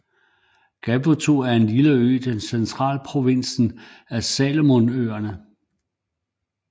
Gavutu er en lille ø i centralprovinsen af Salomonøerne